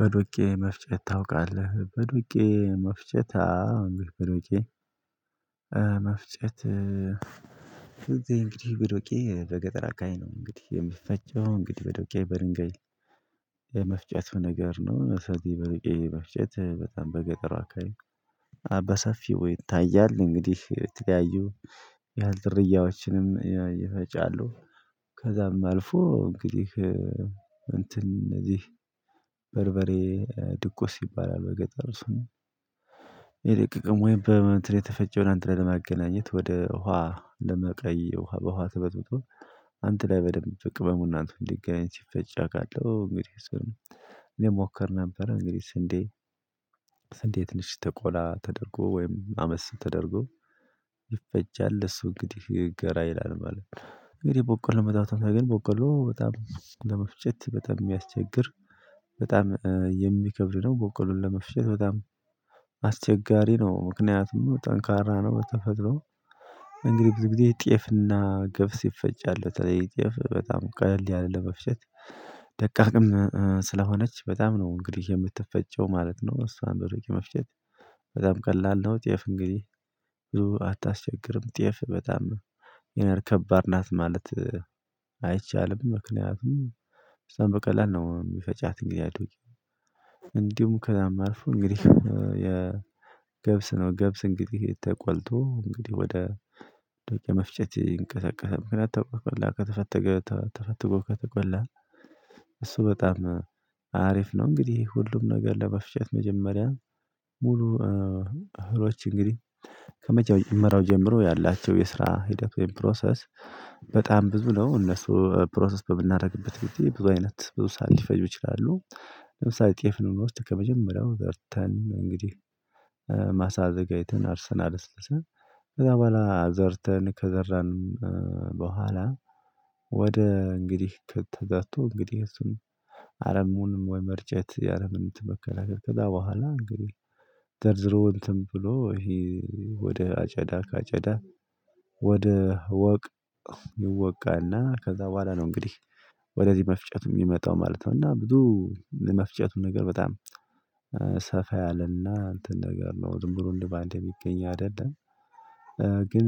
በዱቄ መፍጨት ታውቃለህ በዱቄ መፍጨት አዎ እንግዲህ በዱቄ መፍጨት እንግዲህ በዶቄ በገጠር አከባቢ ነው እንግዲህ የሚፈጨው እንግዲህ በዶቄ በድንጋይ የመፍጨት ነገር ነው። እሳቴ በዶቄ መፍጨት በጣም በገጠር አካባቢ በሰፊው ይታያል እንግዲህ የተለያዩ የህል ዝርያዎችንም ይፈጫሉ። ከዛም አልፎ እንግዲህ እንትን እነዚህ በርበሬ ድቁስ ይባላል በገጠር ስሙ የደቀቀው ወይም በእንትን የተፈጨውን አንድላይ ለማገናኘት ወደ ውሃ ለመቀየር ውሃ በውሃ ተበጥብጦ አንድ ላይ በደንብ ቅመሙ እና እንትኑ እንዲገናኝ ሲፈጭ አውቃለሁ። እንግዲህ እኔ እሞከር ነበር። እንግዲህ ስንዴ ስንዴ ትንሺ ተ ቆላ ተደርጎ ወይም አመስ ተደርጎ ይፈጫል እሱ እንግዲህ ይገራ ይላል ማለት ነው። እንግዲህ በቆሎ መጣሁት ግን በቆሎ በጣም ለመፍጨት በጣም የሚያስቸግር በጣም የሚከብድ ነው። በቆሎን ለመፍጨት በጣም አስቸጋሪ ነው ምክንያቱም ጠንካራ ነው። በተፈጥሮ እንግዲህ ብዙ ጊዜ ጤፍና ገብስ ይፈጫል በተለይ ጤፍ በጣም ቀለል ይላል ለመፍሸት ደቃቅም ስለሆነች በጣም ነው። እንግዲህ የምትፈጨው ማለት ነው እሷን በዱቄ መፍጨት በጣም ቀላል ነው። ጤፍ እንግዲህ አታስቸግርም ጤፍ በጣም ይሄን ከባድ ናት ማለት አይቻልም ምክንያቱም እሷን በቀላል ነው የሚፈጫት እንግዲህ። አይዶኝ እንዲሁም ከዛም አልፎ እንግዲህ የገብስ ነው ገብስ እንግዲህ ተቆልቶ እንግዲህ ወደ ዶቄ መፍጨት እንቀሳቀሰ ምክንያት ተቆላ ከተፈተገ ተፈትጎ ከተቆላ እሱ በጣም አሪፍ ነው። እንግዲህ ሁሉም ነገር ለመፍጨት መጀመሪያ ሙሉ እህሎች እንግዲህ ከመጀመሪያው ጀምሮ ያላቸው የስራ ሂደት ወይም ፕሮሰስ በጣም ብዙ ነው። እነሱ ፕሮሰስ በምናደርግበት ግዴ ብዙ አይነት ብዙ ሰዓት ሊፈጁ ይችላሉ። ለምሳሌ ጤፍን ብንወስድ ከመጀመሪያው ዘርተን እንግዲህ ማሳ አዘጋጅተን አርሰን አለስልሰን ከዛ በኋላ ዘርተን ከዘራን በኋላ ወደ እንግዲህ ከተዘርቶ እንግዲህ እሱን አረሙንም ወይ መርጨት ያረምን እንትንመከላከል ከዛ በኋላ እንግዲህ ዘርዝሮ እንትን ብሎ ይሄ ወደ አጨዳ ካጨዳ ወደ ወቅ ይወቃና ከዛ በኋላ ነው እንግዲህ ወደዚህ መፍጨቱ የሚመጣው ማለት ነው። እና ብዙ መፍጨቱን ነገር በጣም ሰፋ ያለና እንትን ነገር ነው ዝምብሎ እንደው በአንዴ የሚገኝ አይደለም። ግን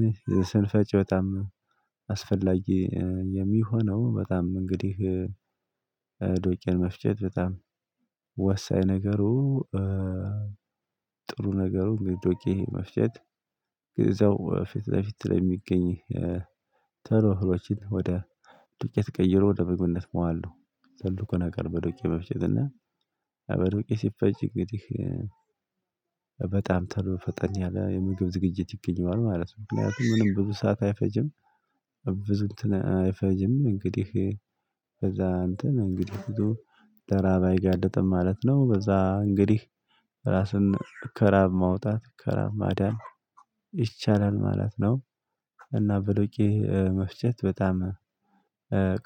ስንፈጭ በጣም አስፈላጊ የሚሆነው በጣም እንግዲህ ዶቄን መፍጀት በጣም ወሳኝ ነገሩ ጥሩ ነገሩ ዶቄ መፍጨት እዛው ፊት ለፊት ለሚገኝ ቶሎ እህሎችን ወደ ዱቄት ተቀይሮ ወደ ምግብነት ማዋል ነው። ትልቁ ነገር በዱቄ መፍጨት እና በዱቄ ሲፈጭ እንግዲህ በጣም ተሎ ፈጠን ያለ የምግብ ዝግጅት ይገኛል ማለት ነው። ምክንያቱም ምንም ብዙ ሰዓት አይፈጅም። ብዙ እንትን አይፈጅም እንግዲህ ከዛ እንትን እንግዲህ ብዙ ለራብ አይጋልጥም ማለት ነው። በዛ እንግዲህ ራስን ከራብ ማውጣት ከራብ ማዳን ይቻላል ማለት ነው። እና ብ ዶቄ መፍጨት በጣም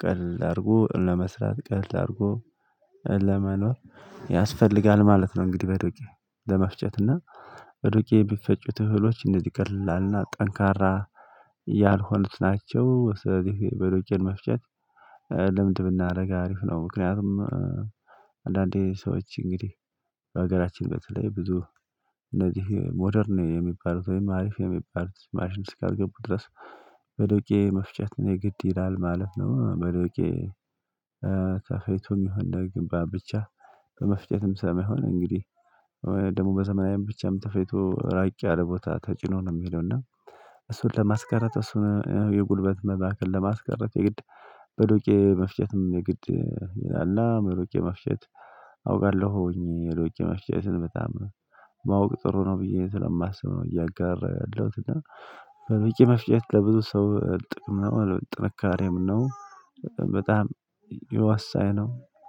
ቀለል አድርጎ ለመስራት ቀለል አድርጎ ለመኖር ያስፈልጋል ማለት ነው። እንግዲህ በዱቄ ለመፍጨት እና ዱቄ የሚፈጩት እውሎች እንደዚህ ቀላል እና ጠንካራ ያልሆኑት ናቸው። ስለዚህ በዶቄን መፍጨት ልምድ ብናደርግ አሪፍ ነው። ምክንያቱም አንዳንዴ ሰዎች እንግዲህ በሀገራችን በተለይ ብዙ እነዚህ ሞደርን የሚባሉት ወይም አሪፍ የሚባሉት ማሽን እስካልገቡ ድረስ በዶቄ መፍጨት የግድ ይላል ማለት ነው። በዶቄ ተፈጭቶም ይሁን ግንባብ ብቻ በመፍጨትም ስለማሆን እንግዲህ ወይ ደግሞ በዘመናዊም ብቻም ተፈጭቶ ራቅ ያለ ቦታ ተጭኖ ነው የሚሄደው እና እሱን ለማስቀረት እሱን የጉልበት መባከን ለማስቀረት የግድ በዶቄ መፍጨትም የግድ አለ። በዶቄ መፍጨት አውቃለሁኝ የዶቄ መፍጨትን በጣም ማወቅ ጥሩ ነው ብዬ ስለማስብ ነው። እያጋራለሁት እና በዶቄ መፍጨት ለብዙ ሰው ጥቅም ነው ጥንካሬም ነው። በጣም የወሳኝ ነው